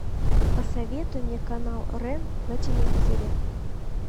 посоветуй мне канал рен на телевизоре